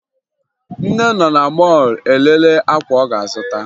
Nne nọ na mọọlụ elele akwa ọ ga-azụta